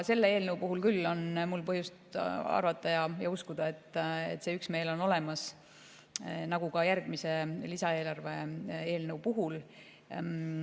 Selle eelnõu puhul on mul põhjust arvata ja uskuda, et üksmeel on olemas, nagu ka järgmise, lisaeelarve eelnõu puhul.